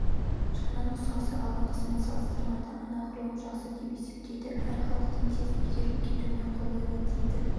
жаңа нұсқасы алдыңғысымен салыстырғанда анағұрлым жақсы деп есептейді әрі халықтың тез игеріп кетуіне қолайлы дейді